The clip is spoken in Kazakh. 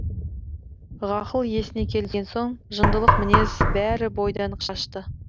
ғақыл есіне келген соң жындылық мінез бәрі бойдан қашты